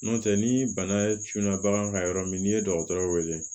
N'o tɛ ni bana tunna bagan kan yɔrɔ min n'i ye dɔgɔtɔrɔ weele